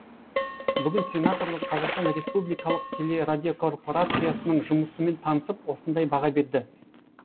бүгін сенаторлар қазақстан республикалық телерадиокорпорациясының жұмысымен танысып осындай баға берді